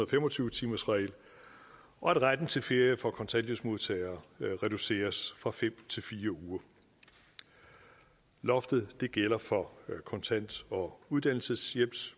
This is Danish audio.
fem og tyve timersregel og at retten til ferie for kontanthjælpsmodtagere reduceres fra fem til fire uger loftet gælder for kontant og uddannelseshjælps